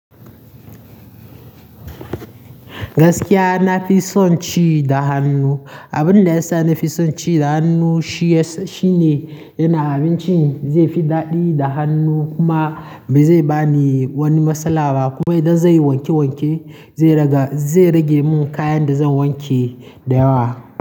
Gaskiya na fi son ci da hannu. Abin da yasa nafi son ci da hannu shi ne yana abinci zai fi daɗi da hannu kuma bai zai bani wani matsala ba kuma idan zan yi wanke wanke zai rage mun kayan da zan wanke da yawa.